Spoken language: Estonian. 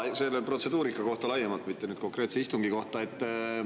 Jaa, protseduuri kohta laiemalt, mitte konkreetse istungi kohta.